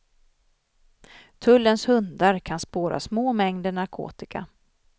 Tullens hundar kan spåra små mängder narkotika.